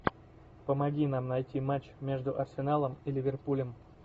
помоги нам найти матч между арсеналом и ливерпулем